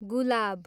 गुलाब